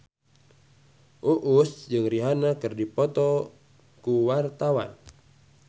Uus jeung Rihanna keur dipoto ku wartawan